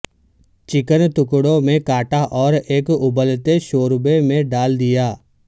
chicken ٹکڑوں میں کاٹا اور ایک ابلتے شوربے میں ڈال دیا